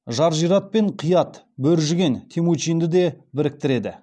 жаржират пен қиат бөр жіген темучинді де біріктіреді